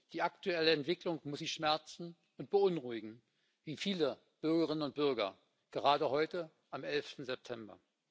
Die aktuelle Entwicklung muss Sie schmerzen und beunruhigen wie viele Bürgerinnen und Bürger gerade heute am 11. September.